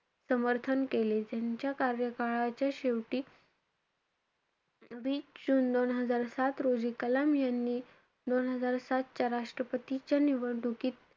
समर्थन केले. त्यांच्या कार्यकाळाच्या शेवटी वीस जुन दोन हजार सात रोजी कलाम यांनी दोन हजार सातच्या राष्ट्रपतींच्या निवडणुकीत,